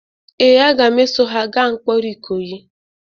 Ee, a ga m eso ha gaa mkpọrọ ikoyi